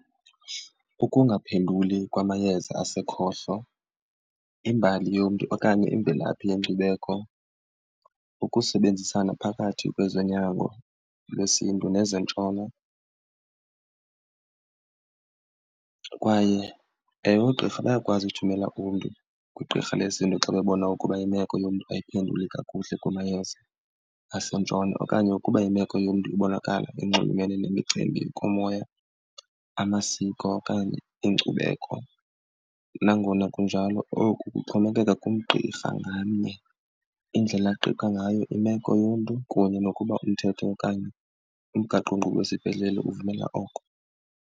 Ukungaphenduli kwamayeza asekhohlo, imbali yomntu okanye imvelaphi yenkcubeko, ukusebenzisana phakathi kwezonyango lwesiNtu nezeNtshona. Kwaye ewe, oogqirha bayakwazi ukuthumela umntu kwigqirha lezinto xa bebona ukuba imeko yomntu ayiphenduli kakuhle kumayeza aseNtshona okanye ukuba imeko yomntu ibonakala inxulumene nemicimbi yokomoya, amasiko okanye inkcubeko. Nangona kunjalo oku kuxhomekeka kugqirha ngamnye indlela aqiqa ngayo imeko yomntu kunye nokuba umthetho okanye umgaqonkqubo wesibhedlele uvumela oko.